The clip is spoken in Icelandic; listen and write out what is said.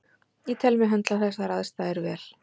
Ég tel mig höndla þessar aðstæður vel.